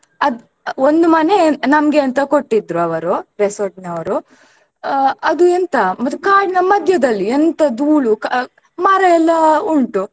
ಅದ್ ಒಂದ್ ಮನೆ ನಮ್ಗೆ ಅಂತ ಕೊಟ್ಟಿದ್ರೂ ಅವರು resort ನವರು ಆ ಅದೂ ಎಂತ ಮತ್ತು ಕಾಡಿನ ಮಧ್ಯೆದಲ್ಲಿ ಎಂತ ಧೂಳು ಕ~ ಮರ ಎಲ್ಲ ಉಂಟು.